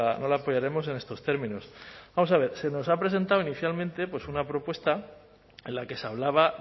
no la apoyaremos en estos términos vamos a ver se nos ha presentado inicialmente una propuesta en la que se hablaba